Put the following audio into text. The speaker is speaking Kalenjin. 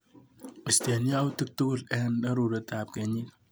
Istee yautik tukul eng arorutab kenyit.